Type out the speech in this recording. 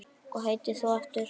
Hvað heitir þú aftur?